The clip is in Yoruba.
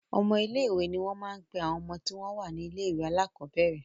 Ọmọ ilé-ìwé ni wọ́n máa ń pe àwọn ọmọ tí wọ́n wà ní ilé-ìwé alákọ̀ọ́bẹ̀rẹ̀.